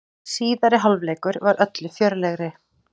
Síðari hálfleikur var öllu fjörlegri.